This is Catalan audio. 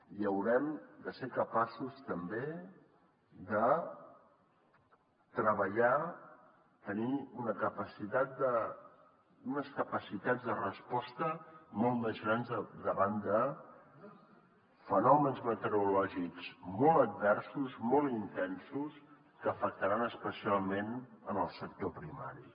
i haurem de ser capaços també de treballar de tenir unes capacitats de resposta molt més grans davant de fenòmens meteorològics molt adversos molt intensos que afectaran especialment el sector primari